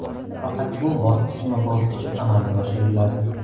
Faqat bu bosqichma-bosqich amalga oshiriladi.